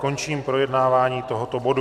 Končím projednávání tohoto bodu.